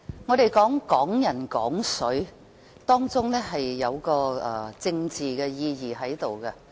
我們說"港人港水"，當中有一個政治意義。